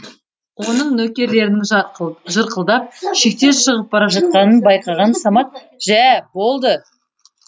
оның нөкерлерінің жырқылдап шектен шығып бара жатқанын байқаған самат жә болды